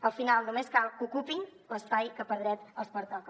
al final només cal que ocupin l’espai que per dret els pertoca